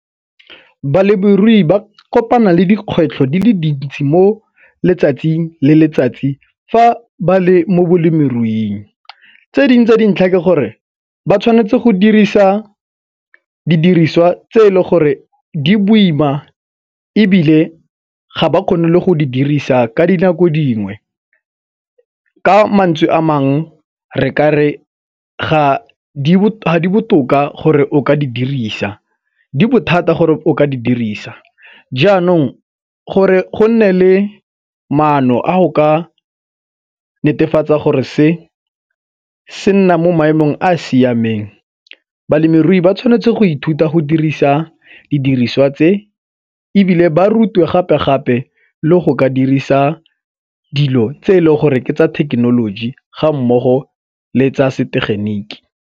Balemirui ba kopana le dikgwetlho di le dintsi mo letsatsing le letsatsi fa ba le mo balemiruing. Tse dingwe tse dintlha ke gore ba tshwanetse go dirisa didiriswa tse e le gore di boima ebile ga ba kgone le go di dirisa ka dinako dingwe ka mantswe a mangwe re ka re ga di botoka gore o ka di dirisa di bothata gore o ka di dirisa janong gore go nne le maano a go ka netefatsa gore se se nna mo maemong a a siameng balemirui ba tshwanetse go ithuta go dirisa didiriswa tse, ebile ba rutiwe gape gape le go ka dirisa dilo tse e leng gore ke tsa thekenoloji ga mmogo le tsa setegeniki.